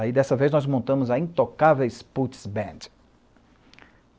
Aí, dessa vez, nós montamos a Intocáveis Puts Band.